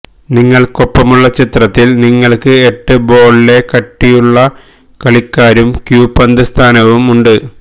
നിങ്ങൾക്കൊപ്പമുള്ള ചിത്രത്തിൽ നിങ്ങൾക്ക് എട്ട് ബോൾ ലെ കട്ടിയുള്ള കളിക്കാരും ക്യൂ പന്ത് സ്ഥാനവും ഉണ്ട്